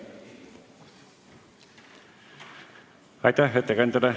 Aitäh ettekandjale!